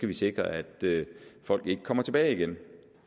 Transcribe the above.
vi sikre at folk ikke kommer tilbage igen